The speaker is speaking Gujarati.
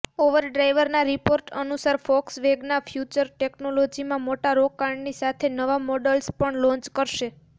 ઓવરડ્રાઈવના રિપોર્ટ અનુસાર ફોક્સવેગન ફ્યૂચર ટેક્નોલોજીમાં મોટા રોકાણની સાથે નવા મોડલ્સ પણ લોન્ચ કરશે